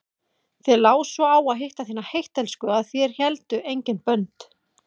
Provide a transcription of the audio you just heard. Þér lá svo á að hitta þína heittelskuðu að þér héldu engin bönd.